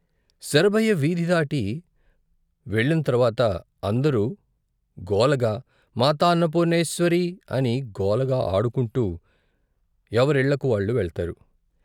శరభయ్య వీధి దాటి వెళ్ళిన తర్వాత అందరూ గోలగా మాతాన్న పూర్ణేశ్వరీ అని గోలగా ఆడుకుంటూ ఎవరిళ్ళకు వాళ్లు వెళ్తారు.